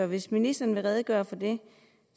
hvis ministeren vil redegøre for det